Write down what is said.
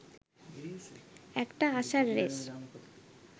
একটা আশার রেশ